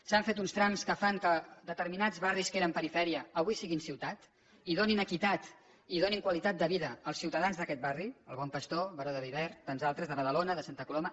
s’han fet uns trams que fan que determinats barris que eren perifèria avui siguin ciutat i donin equitat i donin qualitat de vida als ciutadans d’aquests barris el bon pastor baró de viver tants altres de badalona de santa coloma